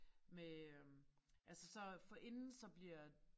Med øh altså så forinden så bliver